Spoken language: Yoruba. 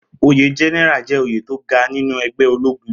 Oyè gẹ́nẹ́rà jẹ́ oyè tó ga nínú ẹgbẹ́ ológun